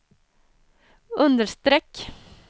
understreck